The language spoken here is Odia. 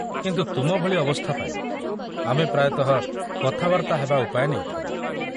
କିନ୍ତୁ ତୁମ ଭଳି ଅବସ୍ଥା ପାଇଁ, ଆମେ ପ୍ରାୟତଃ କଥାବାର୍ତ୍ତା ହେବା ଉପାୟ ନେଇଥାଉ।